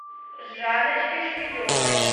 жанночке шмелевой